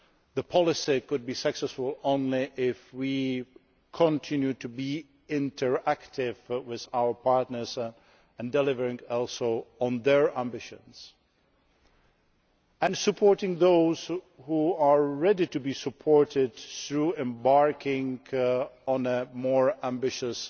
The policy can be successful only if we continue to be interactive with our partners, delivering also on their ambitions and supporting those who are ready to be supported through embarking on a more ambitious